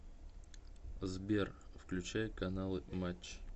сбер включай каналы матч